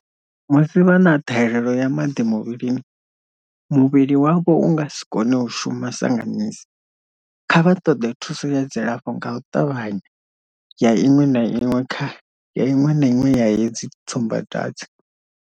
Musi vha na ṱhahelelo ya maḓi muvhilini, muvhili wavho u nga si kone u shuma sa nga misi. Kha vha ṱoḓe thuso ya dzilafho nga u ṱavhanya ya iṅwe na iṅwe ya hedzi tsumbadwadze.